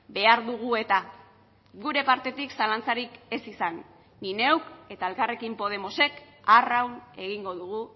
behar dugu eta gure partetik zalantzarik ez izan ni neuk eta elkarrekin podemosek arraun egingo dugu